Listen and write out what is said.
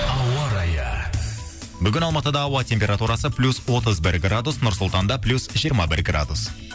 ауа райы бүгін алматыда ауа температурасы плюс отыз бір градус нұр сұлтанда плюс жиырма бір градус